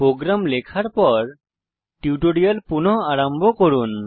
programme লেখার পর tutorial পুনঃ আরম্ভ করুন